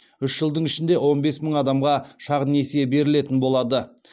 үш жылдың ішінде он бес мың адамға шағын несие берілетін болады